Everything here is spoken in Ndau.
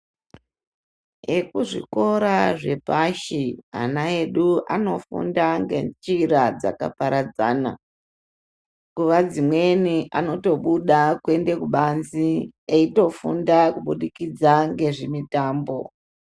Ekuzvikora zvepashi ana edu anofunda ngenjira dzakaparadzana, nguva dzimweni anotobuda kuende kubanze eitofunda kubudikidza ngezvimitambo.